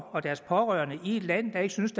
og deres pårørende i et land ikke synes